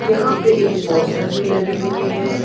यहां पे एक पोस्टर भी लगी हुई है।